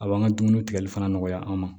A b'an ka dumuni tigɛli fana nɔgɔya an ma